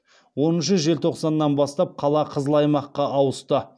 оныншы желтоқсаннан бастап қала қызыл аймаққа ауысты